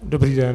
Dobrý den.